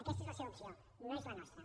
aquesta és la seva opció no és la nostra